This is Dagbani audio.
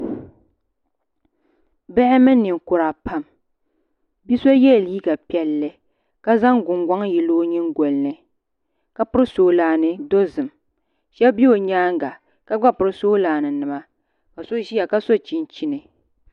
Bihi mini ninkura pam bia so yɛla liiga piɛlli ka zaŋ gungoŋ yili o nyingoli ni ka piri soolaani dozim shab bɛ o nyaanga ka gba piri soolaani nima ka shab ƶiya ka so chinchin